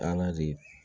Ala de